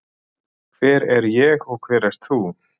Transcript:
Hver er ég og hver ert þú?